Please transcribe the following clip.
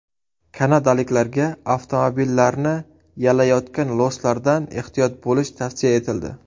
Kanadaliklarga avtomobillarni yalayotgan loslardan ehtiyot bo‘lish tavsiya etildi.